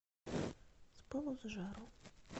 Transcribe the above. с пылу с жару